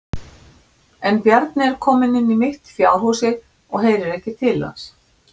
En Bjarni er kominn inn í mitt fjárhúsið og heyrir ekki til hans.